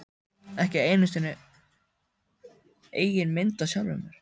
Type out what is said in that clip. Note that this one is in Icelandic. Ekki einu sinni eigin mynd af sjálfum mér.